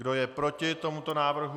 Kdo je proti tomuto návrhu?